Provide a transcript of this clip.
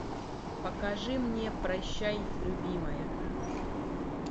покажи мне прощай любимая